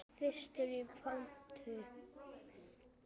Fyrstur í pontu.